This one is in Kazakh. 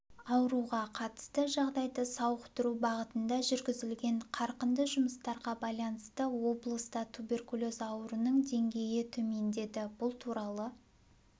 ауруға қатысты жағдайды сауықтыру бағытында жүргізілген қарқынды жұмыстарға байланысты облыста туберкулез ауруының деңгейі төмендеді бұл туралы